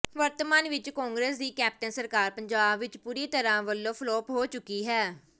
ਵਰਤਮਾਨ ਵਿੱਚ ਕਾਂਗਰਸ ਦੀ ਕੈਪਟਨ ਸਰਕਾਰ ਪੰਜਾਬ ਵਿੱਚ ਪੂਰੀ ਤਰ੍ਹਾਂ ਵਲੋਂ ਫਲਾਪ ਹੋ ਚੁੱਕੀ ਹੈ